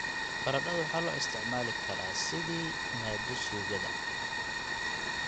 Baradhadu waxaa loo isticmaali karaa sidii maaddo suugada.